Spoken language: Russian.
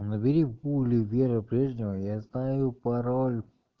ну набери в гугле вера брежнева я знаю пароль